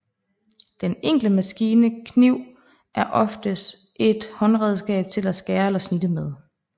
Den enkle maskine kniv er oftest et håndredskab til at skære eller snitte med